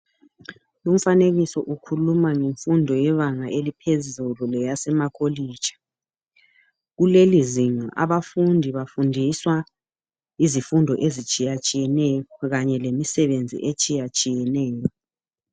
Lumfanekiso ukhuluma ngemfundo yebanga eliphezulu leyasemakolitshi. Kuleli zinga abafundi bafundiswa izifundo izitshiyatshiyeneyo kanye lemisebenzi etshiyatshiyeneyo.